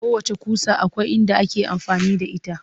Kowacce ƙusa akwai inda ake amfani da ita